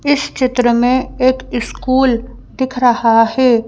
इस चित्र में एक स्कूल दिख रहा है।